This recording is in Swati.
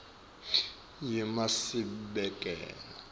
yemasibekela